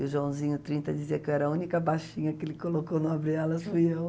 E o Joãozinho trinta, dizia que eu era a única baixinha que ele colocou no Abre Alas, fui eu.